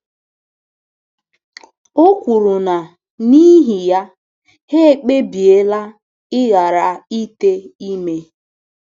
O kwuru na n’ihi ya, ha ekpebiela ịghara ite ime.